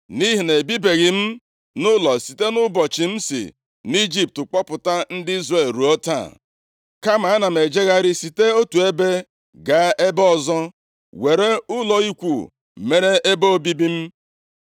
Nʼihi na ebibeghị m nʼụlọ site nʼụbọchị m si nʼIjipt kpọpụta ndị Izrel ruo taa. Kama ana m ejegharị site otu ebe gaa ebe ọzọ, were ụlọ ikwu mere ebe obibi m.